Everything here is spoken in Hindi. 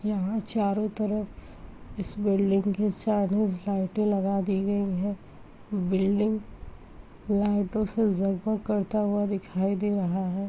यहाँ चारों तरफ इस बिल्डिंग के चाइनीज लाइटें लगा दी गई हैं। बिल्डिंग लाइटों से जगमग करता हुआ दिखाई दे रहा है।